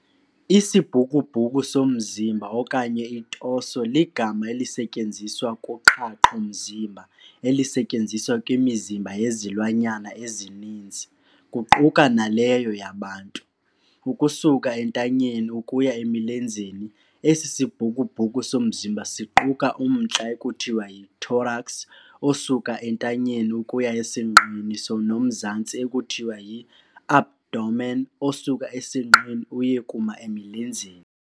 Isibhukubhuku somzimba okanye i-torso ligama elisetyenziswa kuqhaqho mzimba elisetyenziswa kwimizimba yezilwanyana ezininzi, kuquka naleyo yabantu, ukusuka entanyeni ukuya emilenzeni esi sibhukubhuku somzimba siquka umntla ekuthiwa yi-thorax osuka entanyeni ukuya esinqeni nomzantsi ekuthiwa yi-abdomen osuka esinqeni uye kuma emilenzeni.